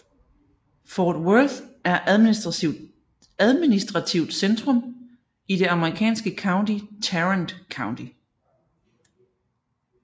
Fort Worth er administrativt centrum i det amerikanske county Tarrant County